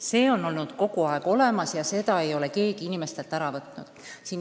See on olnud kogu aeg nii ja seda õigust ei ole keegi inimestelt ära võtnud.